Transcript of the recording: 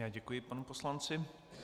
Já děkuji panu poslanci.